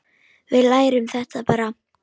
Við lærum þetta bara.